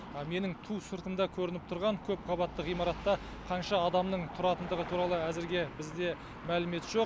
менің ту сыртымда көрініп тұрған көп қабатты ғимаратта қанша адамның тұратындығы туралы әзірге бізде мәлімет жоқ